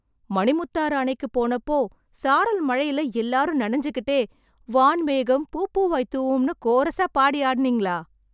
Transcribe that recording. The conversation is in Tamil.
மணிமுத்தாறு அணைக்கு போனப்போ, சாரல் மழையில எல்லாரும் நனஞ்சுக்கிட்டே, ’வான் மேகம் பூப்பூவாய் தூவும்’னு கோரஸா பாடி ஆடுனீங்களா...